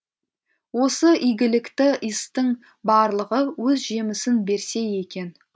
осы игілікті істің барлығы өз жемісін берсе екен